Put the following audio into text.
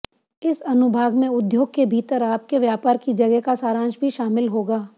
इस अनुभाग में उद्योग के भीतर आपके व्यापार की जगह का सारांश भी शामिल होगा